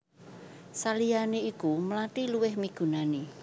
Saliyané iku mlathi luwih migunani